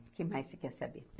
O que mais você quer saber?